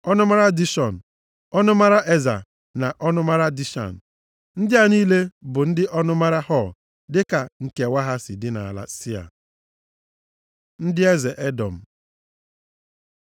ọnụmara Dishọn, ọnụmara Eza na ọnụmara Dishan. Ndị a niile bụ ndị ọnụmara Hor dịka nkewa ha si dị nʼala Sia. Ndị eze Edọm